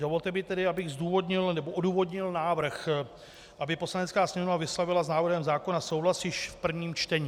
Dovolte mi tedy, abych odůvodnil návrh, aby Poslanecká sněmovna vyslovila s návrhem zákona souhlas již v prvním čtení.